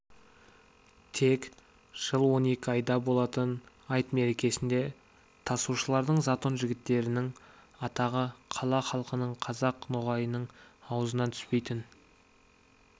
тек жыл он екі айда болатын айт мерекесінде тасушылардың затон жігіттерінің атағы қала халқының қазақ ноғайының аузынан түспейтін